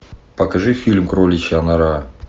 покажи фильм кроличья нора